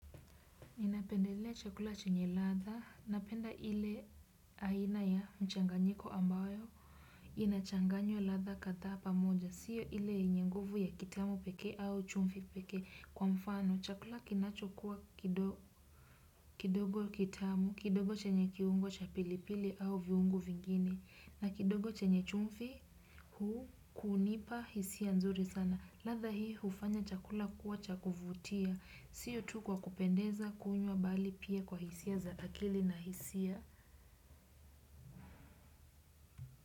Inapendelea chakula chenye ladha, napenda ile aina ya mchanganyiko ambayo, inachanganywa ladha kadhaa pamoja, siyo ile yenye nguvu ya kitamu peke au chumvi pekee. Kwa mfano, chakula kinacho kuwa kidogo kitamu, kidogo chenye kiungo cha pilipili au viungo vingine, na kidogo chenye chumvi huu kunipa hisia nzuri sana. Ladha hiyo hufanya chakula kuwa chakuvutia, siyo tu kwa kupendeza kunywa bali pia kwa hisia za akili na hisia.